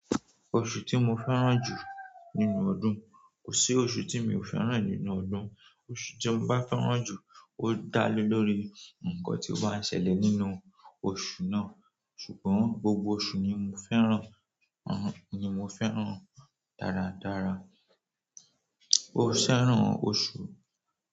Oṣù tí mo fẹ́ràn jù nínú ọdún, kò sí oṣù tí mi ò fẹ́ràn nínú ọdún. Oṣù tí mo bá fẹ́ràn jù ó dá lé lórí ǹkan tí ó bá ń ṣẹlẹ̀ nínú oṣù náà. Ṣùgbọ́n gbogbo ọ̀ṣu ni mo fẹ́ràn, uhn ni mo fẹ́ràn dáradára. Mo fẹ́ràn ọ̀ṣu.